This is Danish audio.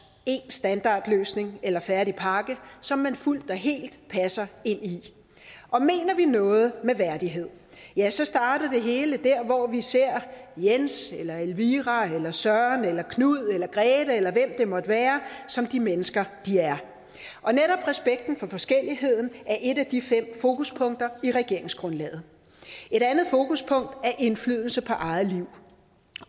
en standardløsning eller en færdig pakke som man fuldt og helt passer ind i og mener vi noget med værdighed ja så starter det hele der hvor vi ser jens eller elvira eller søren eller knud eller grethe eller hvem det måtte være som de mennesker de er og netop respekten for forskelligheden er et af de fem fokuspunkter i regeringsgrundlaget et andet fokuspunkt er indflydelse på eget liv